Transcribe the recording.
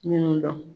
Minnu dɔn